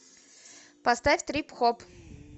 поставь трип хоп